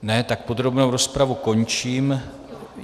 Ne, tedy podrobnou rozpravu končím.